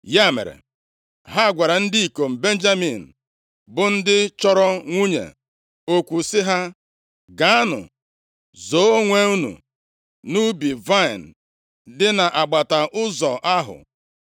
Ya mere, ha gwara ndị ikom Benjamin, bụ ndị chọrọ nwunye okwu sị ha, “Gaanụ zoo onwe unu nʼubi vaịnị dị nʼagbata ụzọ ahụ,